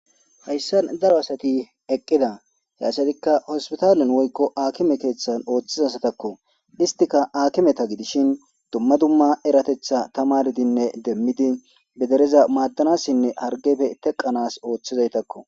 Hayssan daro asati eqqida hyasatikka hospitaalen woykko akime keeththan ooththizasatakko istika aakimeta gidishin dumma dumma eratetha tamardinne demmidi bedereza maaddanassinne hargefe teqanas ooththizaytakko.